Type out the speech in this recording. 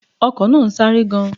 The car is moving at a high speed